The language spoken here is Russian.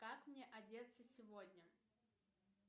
как мне одеться сегодня